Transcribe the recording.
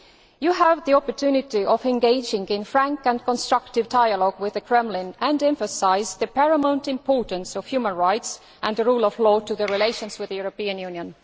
You have the opportunity of engaging in frank and constructive dialogue with the Kremlin and emphasise the paramount importance of human rights and the rule of law in relations with the European Union.